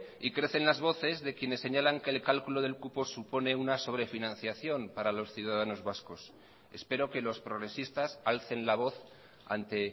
y crecen las voces de quienes señalan que el cálculo del cupo supone una sobrefinanciación para los ciudadanos vascos espero que los progresistas alcen la voz ante